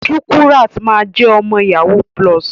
Shukurat ma jẹ ọmọ yahoo plus.